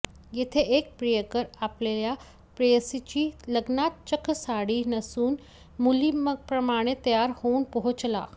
येथे एक प्रियकर आपल्या प्रेयसीच्या लग्नात चक्क साडी नेसून मुलींप्रमाणे तयार होऊन पोहोचला